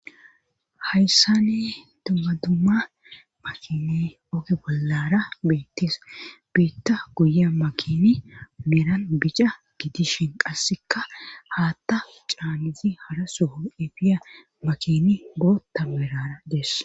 hayssani dumma dumma makine oge bollara beettes biitta guya makini meeran bica gidishin qasseka haatta caanizi hara soho efiya makini bootta meerara dees